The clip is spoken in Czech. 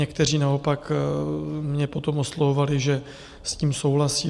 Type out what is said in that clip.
Někteří naopak mě potom oslovovali, že s tím souhlasí.